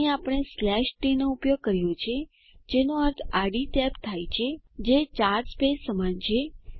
અહીં આપણે t નો ઉપયોગ કર્યો છે જેનો અર્થ આડી ટેબ થાય છે જે 4 સ્પેસ સમાન છે